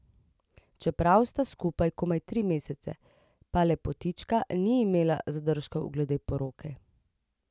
Čeprav sta skupaj komaj tri mesece, pa lepotička ni imela zadržkov glede poroke.